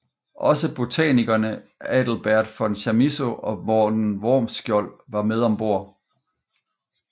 Også botanikerne Adelbert von Chamisso og Morten Wormskjold var med om bord